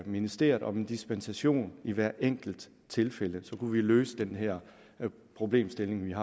ministeriet om dispensation i hvert enkelt tilfælde så kunne vi løse den her problemstilling